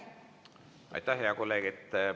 Aitäh, hea kolleeg!